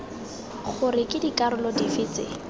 gore ke dikarolo dife tse